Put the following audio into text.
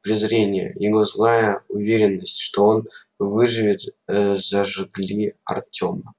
презрение его злая уверенность что он выживет зажгли артёма